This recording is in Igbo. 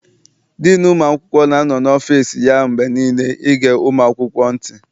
Diinu ụmụ akwụkwọ na-anọ n'ọfịịsi ya mgbe niile ịge ụmụ akwụkwọ ntị.